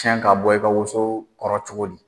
Cɛn ka bɔ i ka woso kɔrɔ cogo di ?